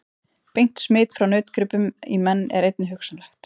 Beint smit frá nautgripum í menn er einnig hugsanlegt.